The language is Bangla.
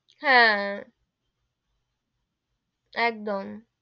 হাঁ, একদম,